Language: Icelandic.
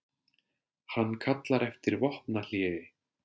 Hann kallar eftir vopnahléi